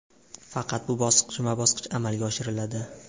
Faqat bu bosqichma-bosqich amalga oshiriladi.